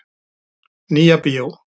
Nýja bíó.